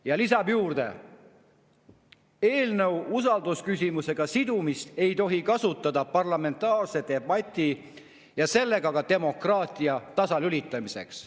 Ja lisab: eelnõu usaldusküsimusega sidumist ei tohi kasutada parlamentaarse debati ja sellega ka demokraatia tasalülitamiseks.